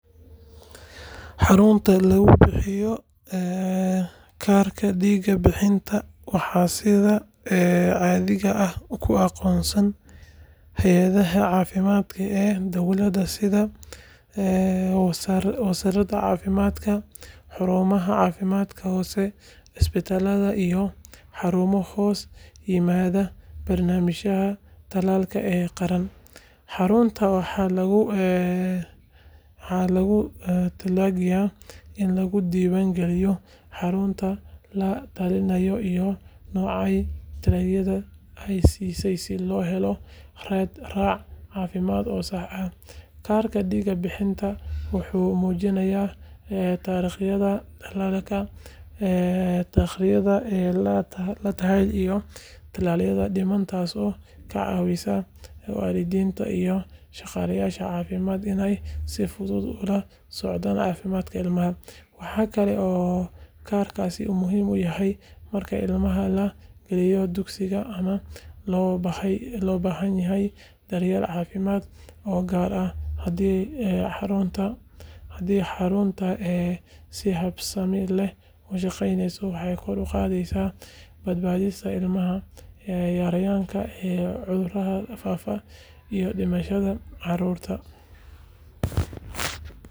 Xarunta lagu bixiyo kaarka diig bixinta waxaa sida caadiga ah ku aqoonsan hay’adaha caafimaadka ee dawladeed sida wasaaradda caafimaadka, xarumaha caafimaadka hoose, isbitaalada iyo xarumo hoos yimaada barnaamijyada tallaalka ee qaran. Xaruntan waxaa loogu talagalay in lagu diiwaan geliyo carruurta la tallaalay iyo noocyada tallaalka la siiyay si loo helo raad raac caafimaad oo sax ah. Kaarka diig bixinta wuxuu muujinayaa taariikhda tallaalka, taariikhda la tallaalay, iyo tallaalada dhiman taasoo ka caawisa waalidiinta iyo shaqaalaha caafimaadka inay si fudud ula socdaan caafimaadka ilmaha. Waxaa kale oo kaarkaasi muhiim u yahay marka ilmaha la gelinayo dugsiga ama loo baahan yahay daryeel caafimaad oo gaar ah. Haddii xarunta si habsami leh u shaqeyso waxay kor u qaadaysaa badbaadada ilmaha, yareyneysaa cudurada faafa iyo dhimashada carruurta.